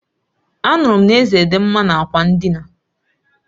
Anuru m na Eze di nma n'ákwà ndịna